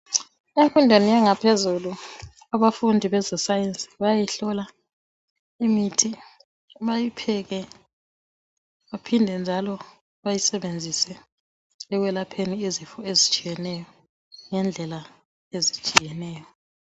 Imfundweni yangaphezulu abafundi beze sayensi bayayihlola imithi bayipheke baphinde njalo bayisebenzise ekwelapheni izifo ezitshiyeneyo ngendlela ezitshiyeneyo.